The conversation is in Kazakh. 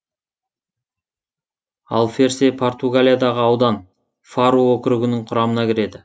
алферсе португалиядағы аудан фару округінің құрамына кіреді